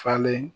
Falen